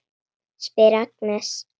spyr Agnes.